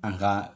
An ka